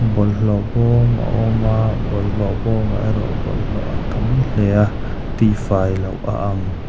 bawlhhlawh bawm a awm a bawlhhlawh bawm ah erawh bawlhhlawh a tam hle a tih fai loh a ang.